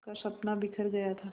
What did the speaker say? का सपना बिखर गया था